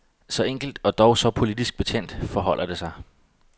Så enkelt, og dog så politisk betændt, forholder det sig.